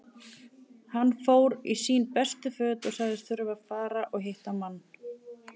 Hann fór í sín bestu föt og sagðist þurfa að fara og hitta mann.